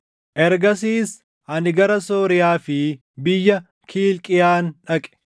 Ergasiis ani gara Sooriyaa fi biyya Kiilqiyaan dhaqe.